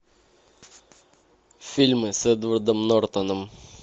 фильмы с эдвардом нортоном